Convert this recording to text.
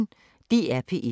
DR P1